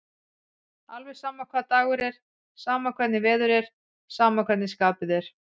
Alveg sama hvaða dagur er, sama hvernig veður er, sama hvernig skapið er.